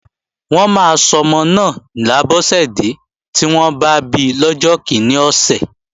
Wọ́n máa sọmọ náà ni Abọ́sẹ̀dẹ́ tí wọ́n bá bi lọ́jọ́ kíní ọ̀sẹ̀